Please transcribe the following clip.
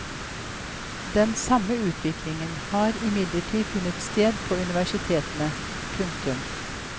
Den samme utviklingen har imidlertid funnet sted på universitetene. punktum